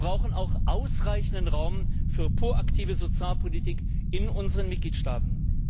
Wir brauchen auch ausreichenden Raum für proaktive Sozialpolitik in unseren Mitgliedstaaten.